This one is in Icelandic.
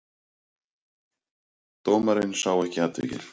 Dómarinn sá ekki atvikið.